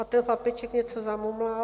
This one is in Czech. A ten chlapeček něco zamumlal.